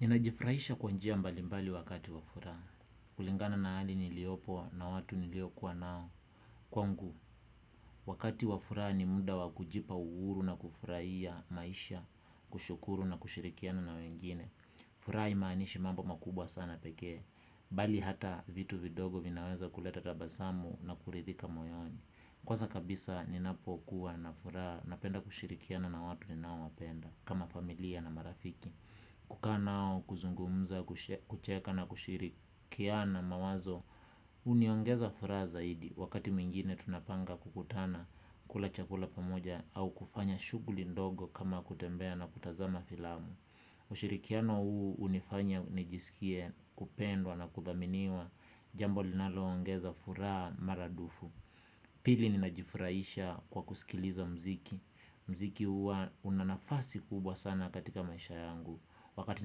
Ninajifraisha kwanjia mbalimbali wakati wafuraa. Kulingana na hali niliopo na watu niliokuwa nao. Kwangu, wakati wafuraa ni munda wakujipa uuru na kufuraia maisha, kushukuru na kushirikiana na wengine. Fura imaanishi mambo makubwa sana pekee, bali hata vitu vidogo vinaweza kuleta tabasamu na kurithika moyoni. Kwanza kabisa ninapokuwa na fura napenda kushirikiana na watu ninao wapenda, kama familia na marafiki. Kuka nao kuzungumza, kucheka na kushirikiana mawazo, uniongeza fura zaidi, wakati mingine tunapanga kukutana kula chakula pamoja au kufanya shuguli ndogo kama kutembea na kutazama filamu. Ushirikiano huu unifanya nijisikie kupendwa na kuthaminiwa jambo linaloongeza furaa maradufu. Pili ninajifuraisha kwa kusikiliza mziki. Mziki hua unanafasi kubwa sana katika maisha yangu. Wakati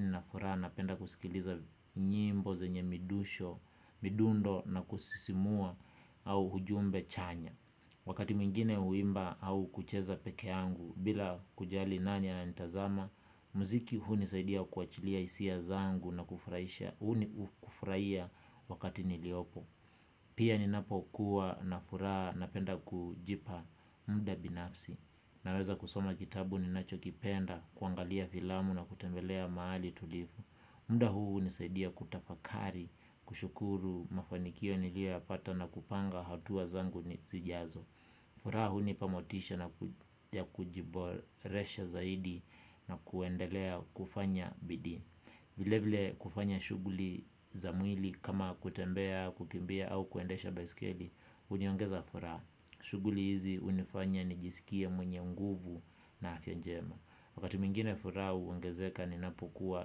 ninafura napenda kusikiliza nyimbo zenye midusho, midundo na kusisimua au hujumbe chanya. Wakati mingine uimba au kucheza peke yangu bila kujali nani ananitazama. Muziki huu nisaidia kuachilia isia zangu na kufraisha. Huu ni kufraia wakati niliopo. Pia ninapokuwa na furaha na penda kujipa mda binafsi. Naweza kusoma kitabu ninacho kipenda kuangalia filamu na kutembelea maali tulifu. Mda huu unisaidia kutafakari kushukuru mafanikio niliapata na kupanga hatua zangu ni zijazo. Fura hunipa motisha na kujiboresha zaidi na kuendelea kufanya bidi. Vile vile kufanya shuguli za mwili kama kutembea, kukimbia au kuendesha besikili. Uniongeza furaha. Shuguli hizi unifanya nijisikie mwenye nguvu na afya njema. Wakati mingine fura huongezeka ninapokuwa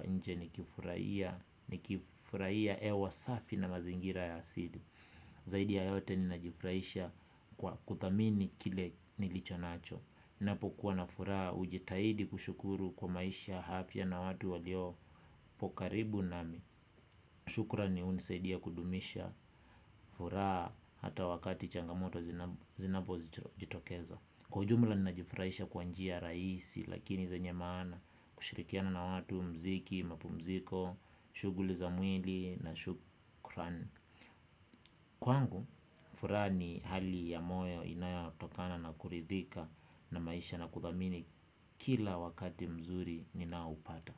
nje ni kifurahia. Ni kifurahia ewa safi na mazingira ya asili. Zaidi ya yote ninajifraisha kwa kutamini kile nilicho nacho. Napo kuwa na furaa ujitahidi kushukuru kwa maisha hafya na watu waliopo karibu nami. Shukrani unisaidi ya kudumisha furaa hata wakati changamoto zinapo jitokeza. Kwa ujumla ninajifraisha kwanjia raisi lakini zenye mana kushirikiana na watu mziki, mapu mziko, shuguli za mwili na shukran. Kwangu, fura ni hali ya moyo inayatokana na kuridhika na maisha na kuthamini kila wakati mzuri ninaupata.